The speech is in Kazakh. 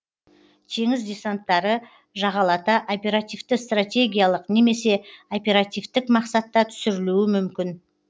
теңіз десанттары жағалата оперативті стратегиялық немесе оперативтік мақсатта түсірілуі мүмкін